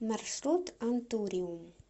маршрут антуриум